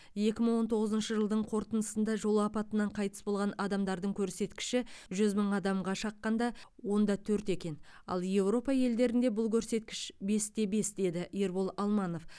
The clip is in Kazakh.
екі мың он тоғызыншы жылдың қорытындысында жол апатынан қайтыс болған адамдар көрсеткіші жүз мың адамға шаққанда он да төрт екен ал европа елдерінде бұл көрсеткіш бес те бес деді нұрбол алманов